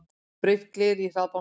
Braut gler í hraðbanka